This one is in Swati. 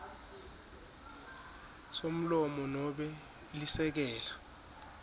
somlomo nobe lisekela